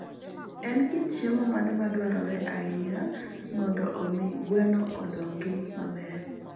En kit chiemo mane madwarore ahinya mondo omi gweno odongi maber?